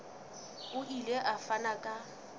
o ile a fana ka